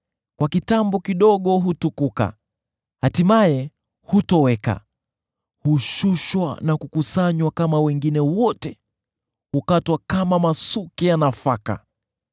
Kwa kitambo kidogo hutukuka, hatimaye hutoweka; hushushwa na kukusanywa kama wengine wote, hukatwa kama masuke ya nafaka.